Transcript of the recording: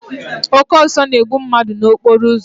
Oke ọsọ na-egbu mmadụ n'okporo ụzọ.